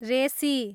रेसी